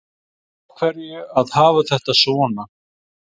Af hverju að hafa þetta svona